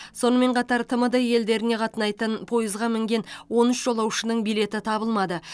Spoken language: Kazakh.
сонымен қатар тмд елдеріне қатынайтын пойызға мінген он үш жолаушының билеті табылмады